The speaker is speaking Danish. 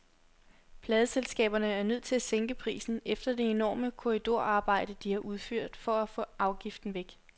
Pladeselskaberne er nødt til at sænke prisen efter det enorme korridorarbejde, de har udført for at få afgiften væk.